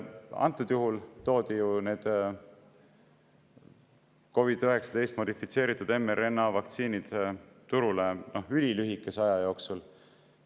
Antud juhul toodi need COVID-19 modifitseeritud mRNA vaktsiinid turule ülilühikese aja jooksul.